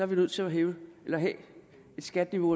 vi nødt til at have et skatteniveau